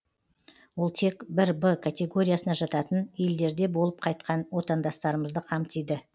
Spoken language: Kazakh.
ол тек бір б категориясына жататын елдерде болып қайтқан отандастарымызды қамтиды